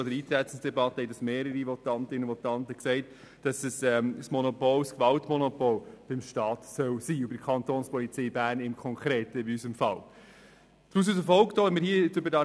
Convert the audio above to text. Schon in der Eintretensdebatte haben mehrere Votantinnen und Votanten gesagt, dass das Gewaltmonopol beim Staat und in unserem konkreten Fall bei der Kapo Bern liegen soll.